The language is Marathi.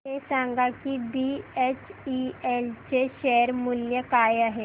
हे सांगा की बीएचईएल चे शेअर मूल्य काय आहे